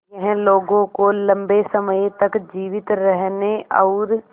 यह लोगों को लंबे समय तक जीवित रहने और